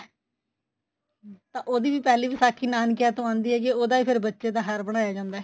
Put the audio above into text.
ਤਾਂ ਉਹਦੀ ਵੀ ਪਹਿਲੀ ਵਿਸਾਖੀ ਨਾਨਕਿਆ ਤੋਂ ਆਂਦੀ ਏ ਜੇ ਉਹਦਾ ਫੇਰ ਬੱਚੇ ਦਾ ਹਾਰ ਬਣਾਇਆ ਜਾਂਦਾ